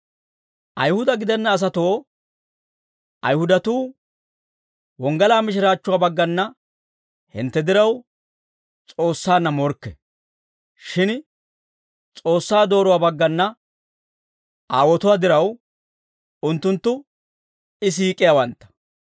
Ayihuda gidenna asatoo, Ayihudatuu wonggalaa mishiraachchuwaa baggana hintte diraw, S'oossaanna morkke; shin S'oossaa dooruwaa baggana aawotuwaa diraw, unttunttu I siik'iyaawantta.